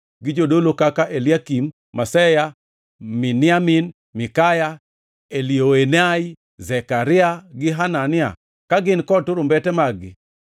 gi jodolo kaka, Eliakim, Maseya, Miniamin, Mikaya, Elioenai, Zekaria gi Hanania ka gin kod turumbete mag-gi.